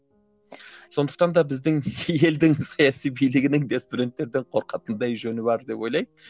сондықтан да біздің елдің саяси билігінің де студенттерден қорқатындай жөні бар деп ойлаймын